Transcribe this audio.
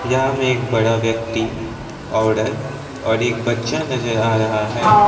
यहां में एक बड़ा व्यक्ति औरत और एक बच्चा नजर आ रहा है।